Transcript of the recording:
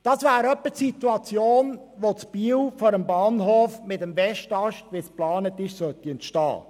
Das wäre in etwa die Situation, die in Biel vor dem Bahnhof mit dem geplanten Westast entstehen soll.